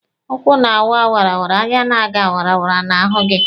Ụkwụ na-aga wara; anya na-aga wara na-ahụ gị.